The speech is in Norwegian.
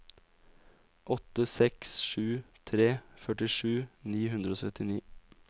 åtte seks sju tre førtisju ni hundre og syttini